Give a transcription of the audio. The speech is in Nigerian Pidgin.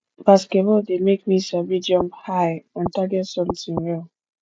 basketball de make me sabi jump high and target something well